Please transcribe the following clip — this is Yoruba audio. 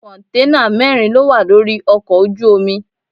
Kọ̀ǹténà mẹ́rin lówà lórí ọkọ̀ ojú omi.